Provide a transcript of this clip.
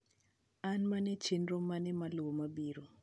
an mane chenro mane maluwo biro